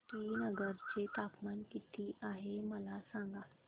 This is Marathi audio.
श्रीनगर चे तापमान किती आहे मला सांगा